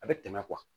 A bɛ tɛmɛ